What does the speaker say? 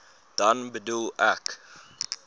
dan bedoel ek